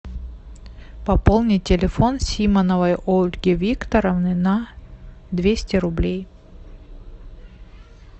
пополнить телефон симоновой ольги викторовны на двести рублей